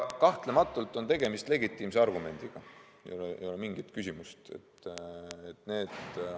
Kahtlematult on tegemist legitiimse argumendiga, siin ei ole mingit küsimust.